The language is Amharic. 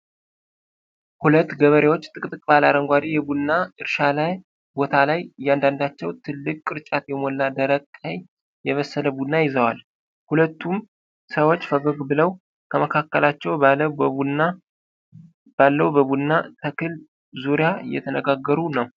ሁለት ገበሬዎች ጥቅጥቅ ባለ አረንጓዴ የቡና እርሻ ቦታ ላይ እያንዳንዳቸው ትልቅ ቅርጫት የሞላ ደማቅ ቀይ የበሰለ ቡና ይዘዋል። ሁለቱም ሰዎች ፈገግ ብለው፣ ከመካከላቸው ባለው በቡና ተክል ዙሪያ እየተነጋገሩ ነው።